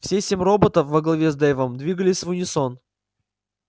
все семь роботов во главе с дейвом двигались в унисон